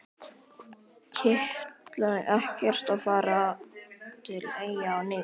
Kitlaði ekkert að fara til Eyja á ný?